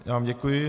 Já vám děkuji.